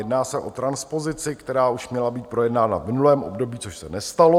Jedná se o transpozici, která už měla být projednána v minulém období, což se nestalo.